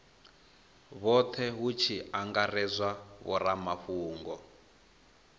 vhothe hu tshi angaredzwa vhoramafhungo